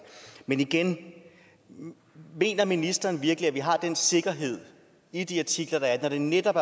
men igen mener ministeren virkelig at vi har den sikkerhed i de artikler når det netop